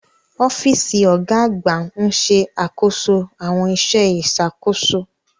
Ọ́fíìsì ọ̀gá àgbà ń ṣe àkóso àwọn iṣẹ́ ìṣàkóso.